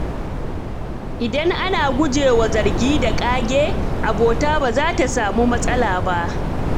Idan ana guje wa zargi da ƙage, abota ba za ta samu matsala ba.